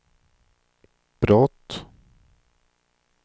brott